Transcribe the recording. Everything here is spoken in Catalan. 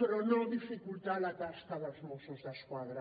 però no dificultar la tasca dels mossos d’esquadra